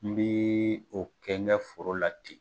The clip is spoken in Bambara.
N bɛ o kɛ n kɛ foro la ten.